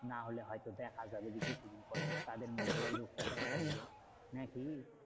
নাহলে হয়তো দেখা যাবে যে, কিছুদিন পর তাদের মধ্যেও এই রোগটা দেখা দিলো, না কি?